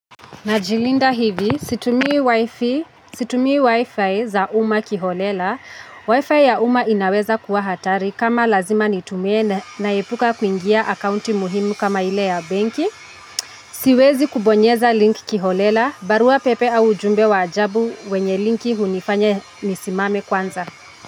Najilinda hivi, situmii wifi za umma kiholela. Wifi ya umma inaweza kuwa hatari kama lazima nitumie naepuka kuingia akaunti muhimu kama ile ya benki. Siwezi kubonyeza link kiholela. Barua pepe au ujumbe wa ajabu wenye linki hunifanya nisimame kwanza.